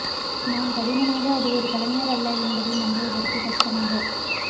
நான் கடினமாக அது ஒரு கலைஞர் அல்ல என்பதை நம்புவதற்கு கஷ்டமாக